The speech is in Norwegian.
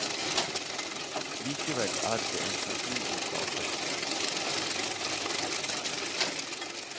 Likevel er det en personlig plate.